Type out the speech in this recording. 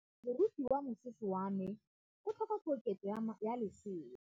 Moroki wa mosese wa me o tlhoka koketsô ya lesela.